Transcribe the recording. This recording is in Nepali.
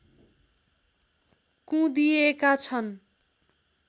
कुँदिएका छन्